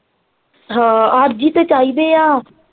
ਅੱਜ ਹੀ ਤੇ ਚਾਹੀਦੇ ਆ।